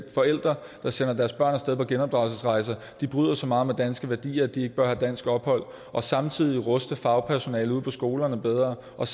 forældre der sender deres børn af sted på genopdragelsesrejse bryder så meget med danske værdier at de ikke bør have dansk ophold og samtidig ruste fagpersonalet ude på skolerne bedre og